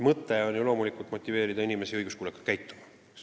Mõte on loomulikult motiveerida inimesi õiguskuulekalt käituma.